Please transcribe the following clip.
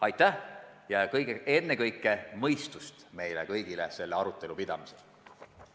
Nii et soovin ennekõike meile kõigile mõistust selle arutelu pidamisel!